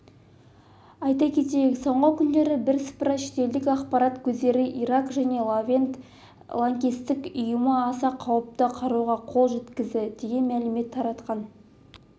айта кетейік соңғы күндері бірсыпыра шетелдік ақпарат көздері ирак және левант лаңкестік ұйымы аса қауіпті қаруға қол жеткізді деген мәлімет таратқан